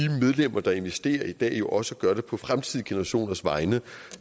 medlemmer der investerer i dag også gør det på fremtidige generationers vegne